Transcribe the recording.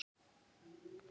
Þín dóttir, Eygló.